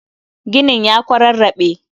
Ginin ya kwararrabe